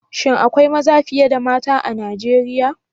Shin akwai maza fiye da mata a Nigeriya?